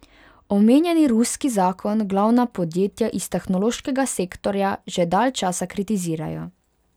Omenjeni ruski zakon glavna podjetja iz tehnološkega sektorja že dalj časa kritizirajo.